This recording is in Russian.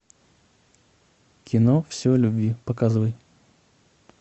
кино все о любви показывай